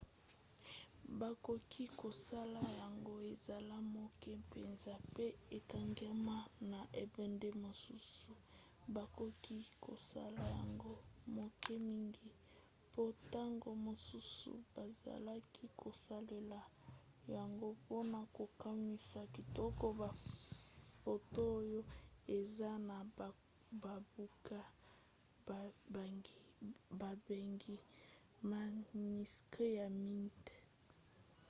bakoki kosala yango ezala moke mpenza mpe ekangama na ebende mosusu. bakoki kosala yango moke mingi mpo ntango mosusu bazalaki kosalela yango mpona kokomisa kitoko bafoto oyo eza na babuku babengi maniskri ya miinda